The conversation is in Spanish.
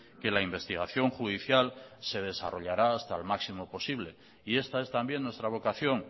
que la investigación judicial se desarrollará hasta el máximo posible y esta es también nuestra vocación